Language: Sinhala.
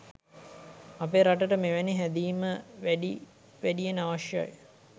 අපේ රටට මෙවැනි හැදීම වැඩි වැඩියෙන් අවශ්‍යයි.